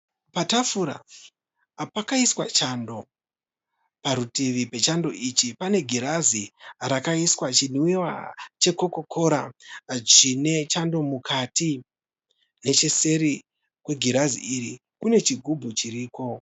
Patafura pakaiswa chando. Parutivi pechando ichi pane girazi rakaiswa chinwiwa chekokokora chine chando mukati. Necheseri kwegirazi iri kune chigubhu chiriko.